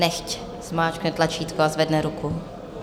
Nechť zmáčkne tlačítko a zvedne ruku.